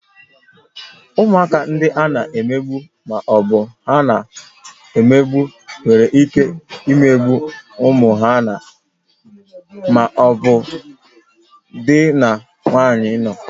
Ụmụaka ndị a na-emegbu ma ọ bụ na-ahụ mmegbu nwere ike imegbu ụmụ ha na/ma ọ bụ di na nwunye nọ